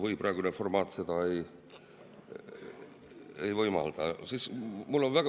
Või praegune formaat seda ei võimalda?